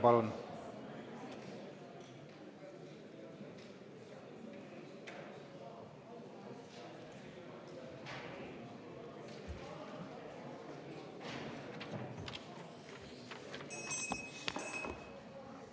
Palun!